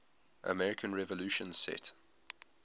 american revolution set